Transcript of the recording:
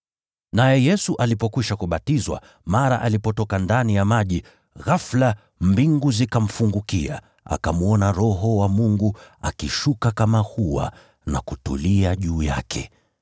Naye Yesu alipokwisha kubatizwa, mara alipotoka ndani ya maji, ghafula mbingu zikafunguka, akamwona Roho wa Mungu akishuka kama hua na kutulia juu yake.